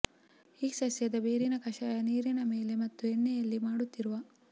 ಈ ಸಸ್ಯದ ಬೇರಿನ ಕಷಾಯ ನೀರಿನ ಮೇಲೆ ಮತ್ತು ಎಣ್ಣೆಯಲ್ಲಿ ಮಾಡುತ್ತಿರುವ